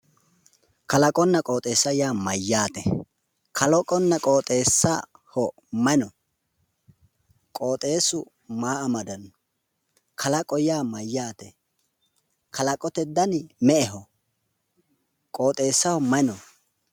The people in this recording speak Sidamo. Kaloqonna qooxeessa yaa mayyaate? Kalaqonna qooxeessu maa amadanno? kalaqo yaa mayyaate? kalaqote dani me'eho? Qooxeessaho mayi no?